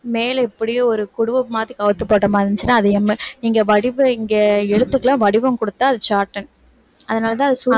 மேல இப்படியே ஒரு குடுவை மாத்தி கவுத்துப் போட்ட மாதிரி இருந்துச்சுன்னா அது M நீங்க வடிவ~ இங்க எழுத்துக்கெல்லாம் வடிவம் கொடுத்தா அது shorthand அதனால தான் அது சு~